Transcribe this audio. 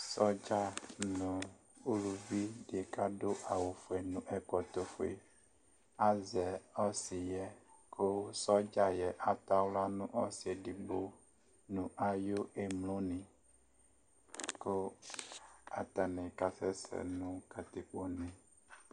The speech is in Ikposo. Sɔdza nʋ uluvi dɩ kʋ adʋ awʋfue nʋ ɛkɔtɔfue azɛ ɔsɩ yɛ kʋ sɔdza yɛ atɔ aɣla nʋ ɔsɩ edigbo nʋ ayʋ emlonɩ kʋ atanɩ kasɛsɛ nʋ katikpone